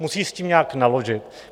Musí s tím nějak naložit.